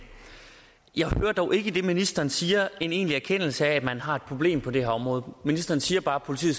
jeg hører dog ikke det ministeren siger en egentlig erkendelse af at man har et problem på det her område ministeren siger bare at politiet